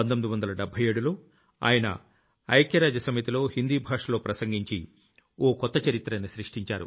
1977లో ఆయన ఐక్యరాజ్య సమితిలో హిందీ భాషలో ప్రసంగించి ఓ కొత్త చరిత్రను సృష్టించారు